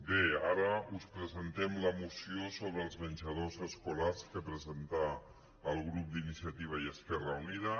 bé ara us presentem la moció sobre els men·jadors escolars que presenta el grup d’iniciativa i es·querra unida